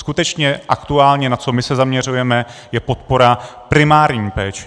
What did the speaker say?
Skutečně aktuálně, na co my se zaměřujeme, je podpora primární péče.